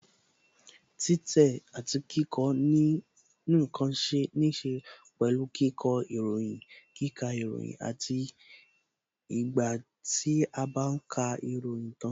Títẹ̀ àti kíkọ ǹkan níse pẹ̀lú kíkọ ìròyìn, kíkà ìròyìn àti ìgbà tí a bá ka ìròyìn tan